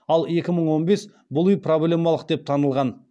ал екі мың он бес бұл үи проблемалық деп танылған